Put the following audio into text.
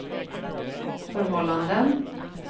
förhållanden